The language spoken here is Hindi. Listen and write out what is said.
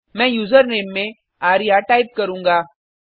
मैं यूजरनेम में आर्य टाइप करुँगा